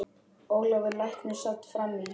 Ólafur læknir sat fram í.